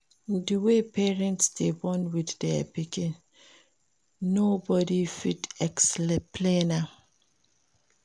Di way parents dey bond with their pikin no body fit explain am